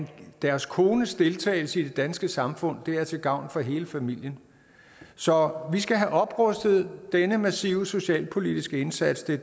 deres kones deltagelse i det danske samfund er til gavn for hele familien så vi skal have oprustet denne massive socialpolitiske indsats det